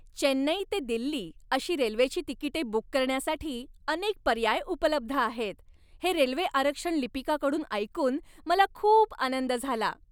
चेन्नई ते दिल्ली अशी रेल्वेची तिकिटे बुक करण्यासाठी अनेक पर्याय उपलब्ध आहेत हे रेल्वे आरक्षण लिपिकाकडून ऐकून मला खूप आनंद झाला.